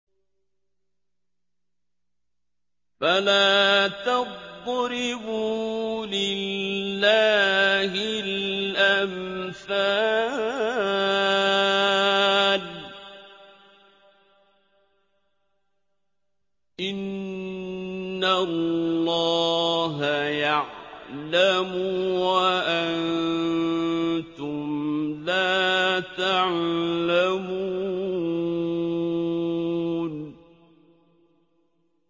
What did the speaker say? فَلَا تَضْرِبُوا لِلَّهِ الْأَمْثَالَ ۚ إِنَّ اللَّهَ يَعْلَمُ وَأَنتُمْ لَا تَعْلَمُونَ